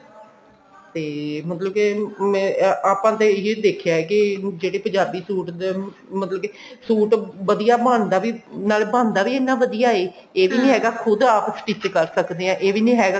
ਤੇ ਮਤਲਬ ਕੇ ਮੈਂ ਆਪਾਂ ਤਾਂ ਇਹ ਦੇਖਿਆ ਹੈ ਕਿ ਜਿਹੜੇ ਪੰਜਾਬੀ suit ਦੇ ਮਤਲਬ ਕਿ suit ਵਧੀਆ ਬਣਦਾ ਵੀ ਨਾਲੇ ਬਣਦਾ ਵੀ ਇੰਨਾ ਵਧੀਆ ਐ ਇਹ ਵੀ ਨੀ ਹੈਗਾ ਖੁਦ ਆਪ stich ਕਰ ਸਕਦੇ ਆ ਇਹ ਵੀ ਨਹੀਂ ਹੈਗਾ